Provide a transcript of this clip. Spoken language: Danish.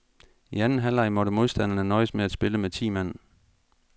I anden halvleg måtte modstanderne nøjes med at spille med ti mand.